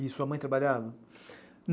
E sua mãe trabalhava?